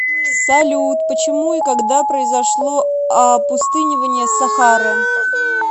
салют почему и когда произошло опустынивание сахары